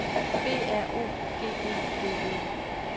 B R O G E D E